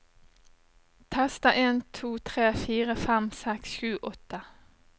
Tester en to tre fire fem seks sju åtte